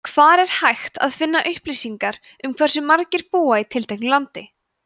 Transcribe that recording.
hvar er hægt að finna upplýsingar um hversu margir búa í tilteknu landi